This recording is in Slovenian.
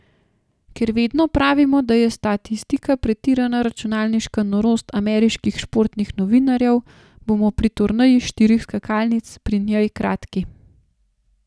Ker vedno pravimo, da je statistika pretirana računalniška norost ameriških športnih novinarjev, bomo pri turneji štirih skakalnic pri njej kratki.